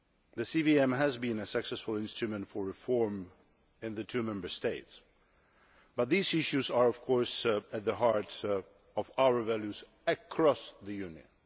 The CVM has been a successful instrument for reform in the two Member States, but these issues are of course at the heart of our values across the Union.